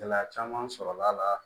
Gɛlɛya caman sɔrɔla la